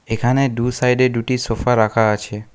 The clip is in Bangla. এখানে দু সাইডে দুটি সোফা রাখা আছে।